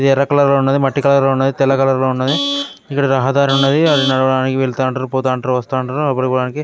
ఇది ఎర్ర కలర్ లో ఉన్నది మట్టి కలర్ లో ఉన్నది తెల్ల కలర్ లో ఉన్నది ఇక్కడ రహదారి ఉన్నది అది నడవడానికి వెళ్తానటారు పోతంటారు వస్తాంటారు అప్పుడు